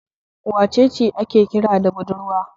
Wace ce ake kira da budurwa?